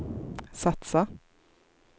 satsa